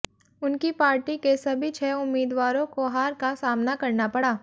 उनकी पार्टी के सभी छह उम्मीदवारों को हार का सामना करना पड़ा